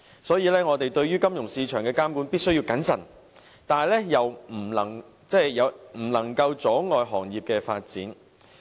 所以，我們對於金融市場的監管必須謹慎，但又不可以阻礙行業發展。